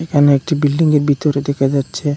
এখানে একটি বিল্ডিংয়ের বিতরে দেখা যাচ্ছে।